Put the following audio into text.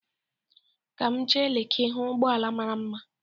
Ka m jee Leki hụ ụgbọala mara mma.